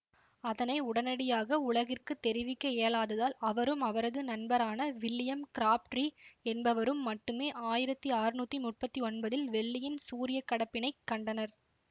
அதனை உடனடியாக உலகிற்குத் தெரிவிக்க இயலாததால் அவரும் அவரது நண்பரான வில்லியம் கிராப்ட்ரீ என்பவரும் மட்டுமே ஆயிரத்தி ஆற்நூத்தி முப்பத்தி ஒன்பதில் வெள்ளியின் சூரியக்கடப்பினைக் கண்டனர்